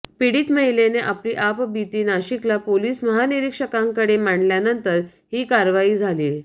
पिडीत महिलेने आपली आपबिती नाशिकला पोलीस महानिरीक्षकांकडे मांडल्यानंतर ही कारवाई झालीय